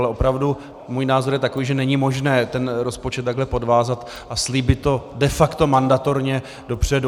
Ale opravdu můj názor je takový, že není možné ten rozpočet takhle podvázat a slíbit to de facto mandatorně dopředu.